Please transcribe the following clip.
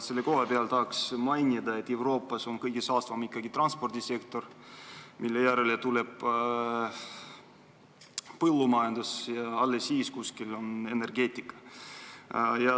Selle kohta tahaks mainida, et Euroopas on kõige saastavam ikkagi transpordisektor, mille järel tuleb põllumajandus ja alles siis on kuskil energeetika.